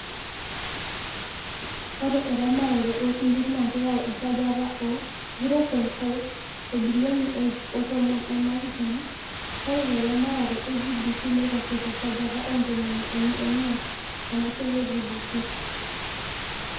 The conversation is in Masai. ore eramatare oosinkir naa keyau esajata e 0.5(obilioni iip o tomon o naapishana) ore te ramatare e GDP naitashe tesajata oo ntomoni uni oong'uan e national GDP